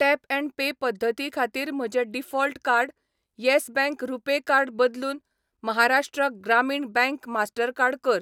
Tap and pay पद्दती खातीर म्हजें default card Yes bank RuPay card बदलून महाराष्ट्र ग्रामीण बँक मास्टरकार्ड कर .